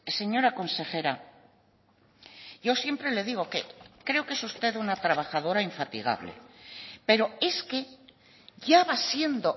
señora consejera yo siempre le digo que creo que es usted una trabajadora infatigable pero es que ya va siendo